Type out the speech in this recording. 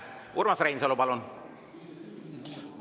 Urmas Reinsalu, palun!